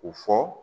U fɔ